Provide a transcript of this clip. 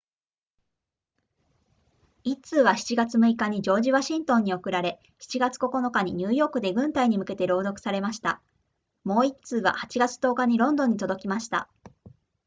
1通は7月6日にジョージワシントンに送られ7月9日にニューヨークで軍隊に向けて朗読されましたもう1通は8月10日にロンドンに届きました